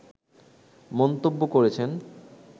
মন্তব্য করেছেন